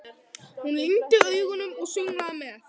Hún lygndi augunum og sönglaði með.